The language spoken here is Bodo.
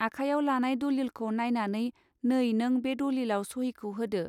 आखायाव लानाय दलीलखौ नायनानै नै नों बे दलीलाव सहीखौ होदो.